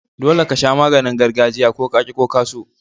Dolle ka sha maganin gargajiya, ko ka ki ko ka so.